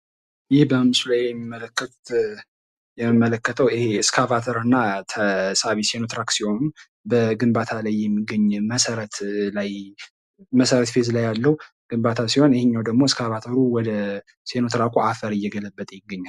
ይሄ በምስሉ ላይ የሚመለከተው ስካቫተር እና ተሳቢ ሲኖትራክ ሲሆኑ በግንባታ ላይ የሚገኝ መሰረት ላይ መሰረትፌዝ ላይ ያለው ግንባታ ሲሆን ይሄኛው ደግሞ ስካቫተሩ ወደ ሲኖትራኩ አፈር እየገለበጠ ይገኛል።